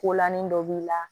Kolanin dɔ b'i la